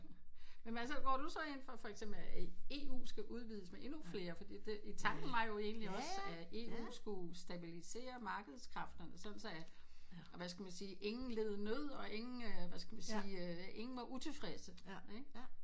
Men altså hvor du så inde fra for eksempel at EU skal udvides med endnu flere fordi det tanken var jo egentlig også at EU sku stabilisere markedskræfterne sådan så at hvad skal man sige at ingen led nød og ingen hvad skal sige ingen var utilfredse